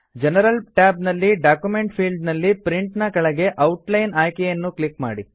general tab ನಲ್ಲಿ document field ನಲ್ಲಿ print ನ ಕೆಳಗೆ ಔಟ್ ಲೈನ್ ಆಯ್ಕೆಯನ್ನು ಕ್ಲಿಕ್ ಮಾಡಿ